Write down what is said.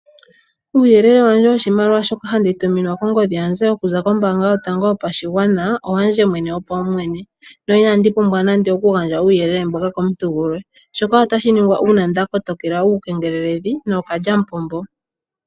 Uuyele wandje woshimaliwa shoka handituminwa kongodhi yandje okuza kombaanga yotango yopashigwana, owandje mwene wopawumwene na inandi pumbwa nande okugandja uuyelele mboka komuntu gulwe, shoka otashi ningwa uuna ndakotokela uukengeleledhi nookalyamupombo.